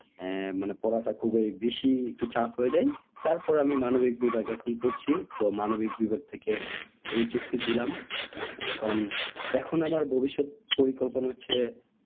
মানে পড়াটা খুব ওই বেশি একটু চাপ হয়ে যায় তারপর আমি মানবিক বিভাগে এখন পড়ছি তো মানবিক বিভাগ থেকে HSC দিলাম এখন এখন আমার ভবিষ্যৎ পরিকল্পনা হচ্ছে